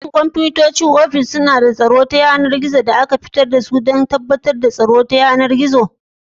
Shin kwamfutocin ofis suna da sabuwar na'urar ta riga-kafi da aka shigar don tabbatar da tsaro ta yanar gizo?